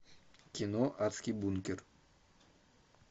кино адский бункер